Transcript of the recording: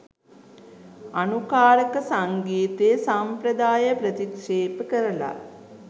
අනුකාරක සංගීත සම්ප්‍රදාය ප්‍රතික්‍ෂේප කරලා